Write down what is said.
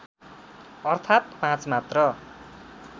अर्थात् पाँच मात्र